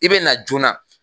I be na joona